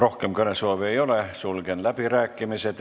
Rohkem kõnesoove ei ole, sulgen läbirääkimised.